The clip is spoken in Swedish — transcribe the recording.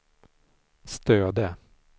Stöde